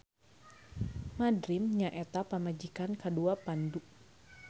Madrim nyaeta pamajikan kadua Pandu.